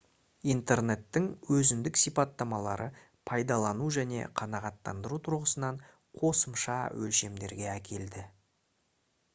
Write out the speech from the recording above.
интернеттің өзіндік сипаттамалары пайдалану және қанағаттандыру тұрғысынан қосымша өлшемдерге әкелді